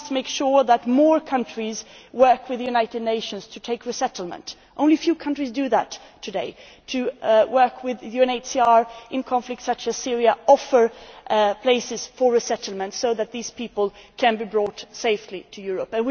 We must make sure that more countries work with the United Nations to take resettlement only a few countries do that today, working with UNHCR in conflicts such as Syria and offering places for resettlement so that these people can be brought safely to Europe.